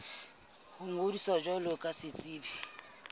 ho ngodisa jwalo ka setsebi